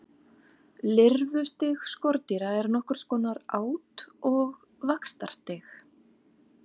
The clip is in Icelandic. Lirfustig skordýra er nokkurs konar át- og vaxtarstig.